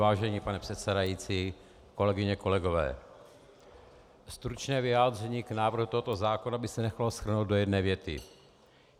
Vážený pane předsedající, kolegyně, kolegové, stručné vyjádření k návrhu tohoto zákona by se nechalo shrnout do jedné věty.